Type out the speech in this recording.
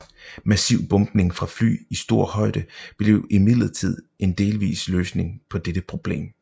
Massiv bombning fra fly i stor højde blev imidlertid en delvis løsning på dette problem